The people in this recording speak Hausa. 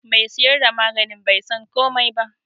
Me siyar da maganin bai san komai ba.